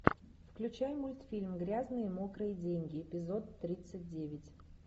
включай мультфильм грязные мокрые деньги эпизод тридцать девять